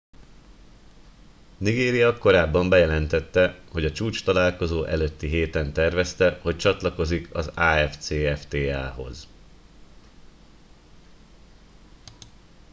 nigéria korábban bejelentette hogy a csúcstalálkozó előtti héten tervezte hogy csatlakozik az afcfta hoz